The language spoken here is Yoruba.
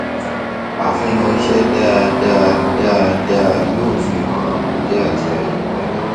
àfihàn iṣẹ dáadáa dáadáa yóò fihan àkùdé àti ìyapa